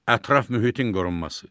Ətraf mühitin qorunması.